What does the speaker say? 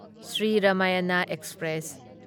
Shri Ramayan express